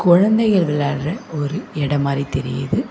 கொழந்தைகள் விளையாட்ற ஒரு எடம் மாரி தெரியிது.